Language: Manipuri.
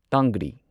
ꯇꯥꯡꯒ꯭ꯔꯤ